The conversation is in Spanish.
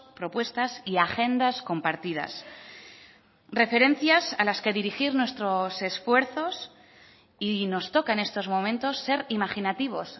propuestas y agendas compartidas referencias a las que dirigir nuestros esfuerzos y nos toca en estos momentos ser imaginativos